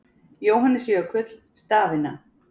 Jóhannes Jökull: Stafina.